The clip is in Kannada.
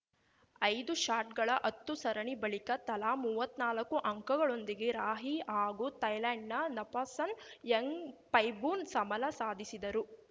ಐದು ಶಾಟ್‌ಗಳ ಹತ್ತು ಸರಣಿ ಬಳಿಕ ತಲಾ ಮುವ್ವತ್ನಾಲ್ಕು ಅಂಕಗಳೊಂದಿಗೆ ರಾಹಿ ಹಾಗೂ ಥಾಯ್ಲೆಂಡ್‌ನ ನಪಾಸನ್ ಯಾಂಗ್‌ಪೈಬೂನ್‌ ಸಮಲ ಸಾಧಿಸಿದರು